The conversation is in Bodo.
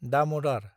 दामदार